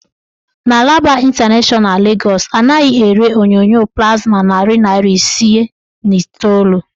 N' Alaba ịntanashọna Legọs, anaghị ere onyonyo plasma narị naịra isii na iteolu.